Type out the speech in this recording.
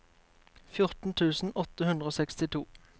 fjorten tusen åtte hundre og sekstito